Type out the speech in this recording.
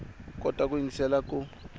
u kota ku yingiselela ku